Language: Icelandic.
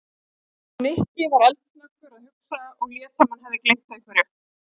Nikki var eldsnöggur að hugsa og lét sem hann hefði gleymt einhverju.